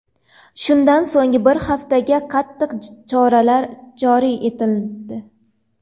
Shundan so‘ng bir haftaga qattiq choralar joriy etildi.